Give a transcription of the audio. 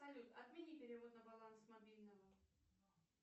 салют отмени перевод на баланс мобильного